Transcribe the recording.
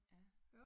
Ja